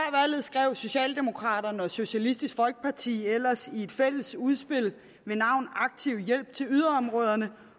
skrev socialdemokraterne og socialistisk folkeparti ellers i et fælles udspil ved navn aktiv hjælp til yderområderne